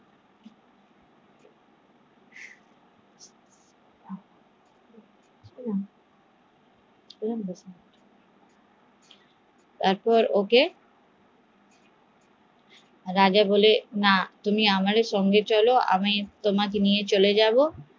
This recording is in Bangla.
তারপর ওকে রাজা বলে তুমি আমার সঙ্গে চলো আমি তোমাকে নিয়ে চলে যাবো